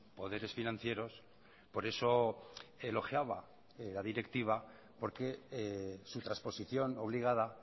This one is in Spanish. poderes financieros por eso elogiaba la directiva porque su transposición obligada